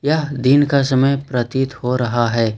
यह दिन का समय प्रतीत हो रहा है।